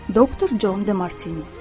Doktor Jon de Martini.